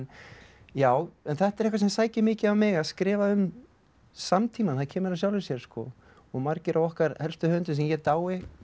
já en þetta er eitthvað sem sækir mikið á mig að skrifa um samtímann það kemur af sjálfu sér og margir af okkar helstu höfundum sem ég dái og